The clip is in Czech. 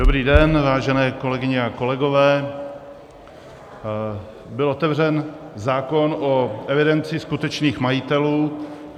Dobrý den, vážené kolegyně a kolegové, byl otevřen zákon o evidenci skutečných majitelů.